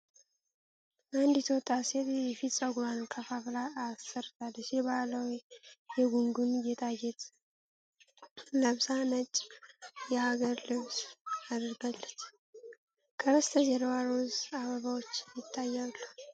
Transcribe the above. አንዲት ወጣት ሴት የፊት ፀጉሯን ከፋፍላ አሰርታለች ። የባህላዊ የጉንጉን ጌጣጌጥ ለብሳ ነጭ የሀገር ልብስ አድርጋለች። ከበስተጀርባ ሮዝ አበባዎች ይታያሉ።